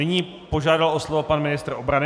Nyní požádal o slovo pan ministr obrany.